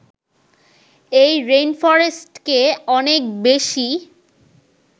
এই রেইনফরেস্টকে অনেক বেশি